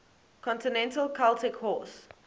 continental celtic horse